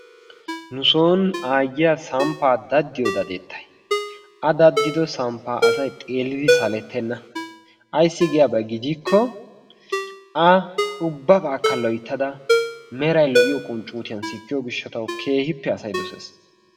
Nu sooni aayiya samppaa daddiyo dadettay a dadddido samppaa assy xeellidi salettena. Ayssi giyaabaa gidikko a ubbabakka loyttada meray lo'iyo qunccuuttiyan sikkiyo gishshatawu keehiippe asay dosees.